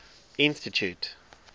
institute